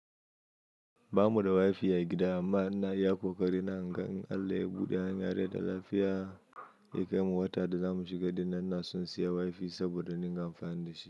Ba mu da wifi a gida amma ina iya ƙoƙari na ga in Allah ya buɗe hanya rai da lafiya. Yakai mu wata da za mu shiga dinnan ina son siya wifi saboda in dinga amfani dashi.